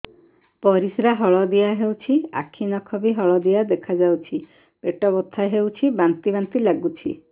ପରିସ୍ରା ହଳଦିଆ ହେଉଛି ଆଖି ନଖ ବି ହଳଦିଆ ଦେଖାଯାଉଛି ପେଟ ବଥା ହେଉଛି ବାନ୍ତି ବାନ୍ତି ଲାଗୁଛି